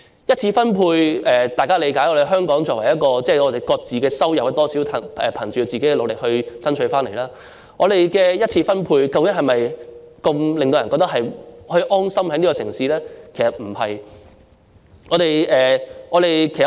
在香港，大家理解的一次分配是各自的收入，大家是憑藉個人努力而爭取回來的，但我們的一次分配能否令人覺得可以在這城市安心生活呢？